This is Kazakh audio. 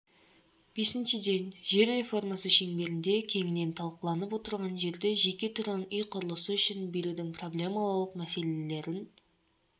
бесіншіден жер реформасы шеңберінде кеңінен талқыланып отырған жерді жеке тұрғын үй құрылысы үшін берудің проблемалық мәселелерін